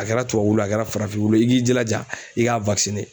A kɛra tubabu wulu ye a kɛra farafinw wulu ye i k'i jilaja i ka wakisine